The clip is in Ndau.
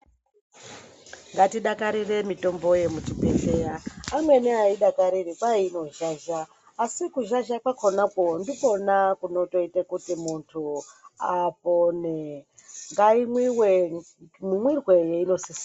Ngatidakarire mitombo yemuzvibhedhlera. Amweni aaidakariri kwai inozhazha asi kuzhazha kwakhonakwo ndikwona kunotoite kuti muntu apone. Ngaimwiwe mumwirwe weinosisa.